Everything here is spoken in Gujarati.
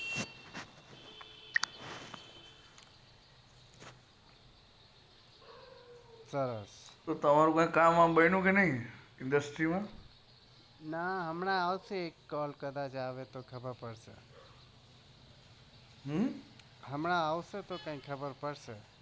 સરસ તમારું કામ કૈક બન્યું કે નઈ industry માં ના હમણાં આવશે તો કૈક ખબર પડશે